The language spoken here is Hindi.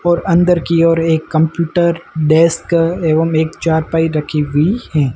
और अंदर की ओर एक कंप्यूटर डेस्क एवं एक चारपाई रखी हुई है।